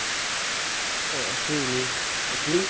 হয় আছো এনে। আপুনি?